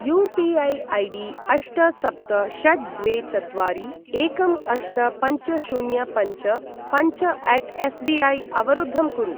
UPI. ID अष्ट सप्त षट् द्वे चत्वारि एकं अष्ट पञ्च शून्य पञ्च पञ्चअट् एसबिऐ अवरुद्धं कुरु।